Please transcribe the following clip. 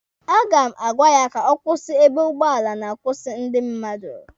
A ga m agwa ya ka ọ kwụsị ebe ụgbọala na-akwụsị ndị mmadụ